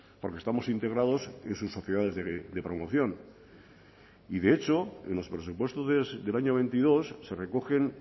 porque estamos integrados en sus sociedades de promoción y de hecho en los presupuestos del año veintidós se recogen